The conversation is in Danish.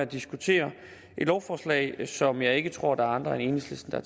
diskuterer et lovforslag som jeg ikke tror der er andre end enhedslisten der